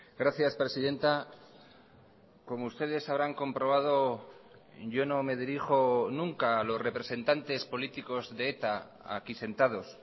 gracias presidenta como ustedes habrán comprobado yo no me dirijo nunca a los representantes políticos de eta aquí sentados